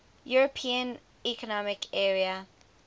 european economic area